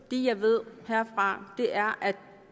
det jeg ved herfra er at vi